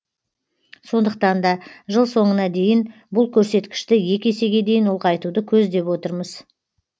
сондықтан да жыл соңына дейін бұл көрсеткішті екі есеге дейін ұлғайтуды көздеп отырмыз